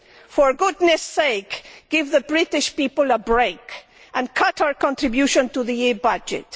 For goodness sake, give the British people a break and cut our contribution to the EU budget.